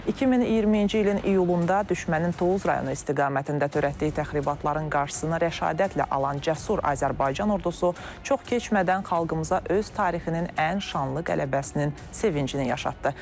2020-ci ilin iyulunda düşmənin Tovuz rayonu istiqamətində törətdiyi təxribatların qarşısını rəşadətlə alan cəsur Azərbaycan ordusu çox keçmədən xalqımıza öz tarixinin ən şanlı qələbəsinin sevincini yaşatdı.